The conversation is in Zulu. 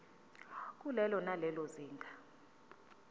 kulelo nalelo zinga